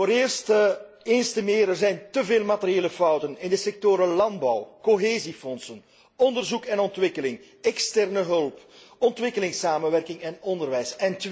Ten eerste, eens te meer zijn er te veel materiële fouten in de sectoren landbouw, Cohesiefonds, onderzoek en ontwikkeling, externe hulp, ontwikkelingssamenwerking en onderwijs.